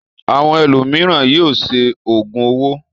Àwọn ẹlòmíràn yóò ṣe òògùn owó.